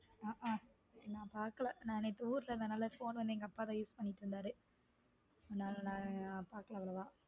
ஹம் ஹம் நான் பாக்கல நேத்து ஊர்ல இருந்தனால phone வந்து எங்க அப்பா தான் use பண்ணிட்டு இருந்தாரு அதனால நான் பார்க்கலா அவ்வளவா